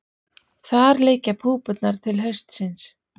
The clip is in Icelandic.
Þar liggja púpurnar til haustsins.